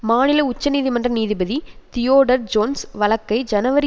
மாநில உச்சநீதிமன்ற நீதிபதி தியோடோர் ஜோன்ஸ் வழக்கை ஜனவரி